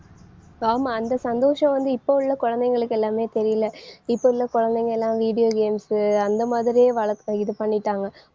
ஆமா அந்த சந்தோஷம் வந்து இப்ப உள்ள குழந்தைகளுக்கு எல்லாமே தெரியலை இப்ப உள்ள குழந்தைங்க எல்லாம் video games உ அந்த மாதிரியே வளர்த்து இது பண்ணிட்டாங்க.